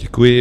Děkuji.